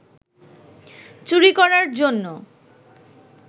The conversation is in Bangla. চুরি করার জন্য